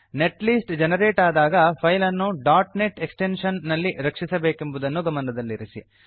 net list generate ಆದಾಗ file ಅನ್ನು net extension ನಲ್ಲಿ ರಕ್ಷಿಸಬೇಕೆಂಬುದನ್ನು ಗಮನದಲ್ಲಿರಲಿ